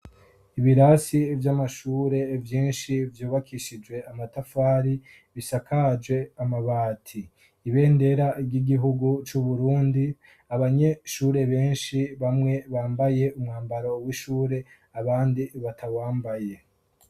ibirasi vy'amashure byinshi vyubakishije amatafari bisakaje amabati ibendera ry'igihugu cuburundi abanyeshure benshi bamwe bambaye umwambaro w'ishure abandi batawambaye